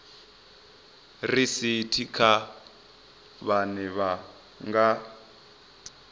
risithi kha vhane vha nga